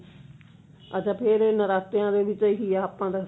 ਅੱਛਾ ਫ਼ੇਰ ਨਰਾਤਿਆਂ ਦੇ ਵਿੱਚ ਆਹੀ ਹੈ ਆਪਾਂ ਤਾਂ